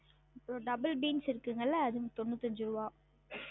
ஒரு double beans இருக்குங்கள்ள அது தொன்னித்தஞ்சு ருவா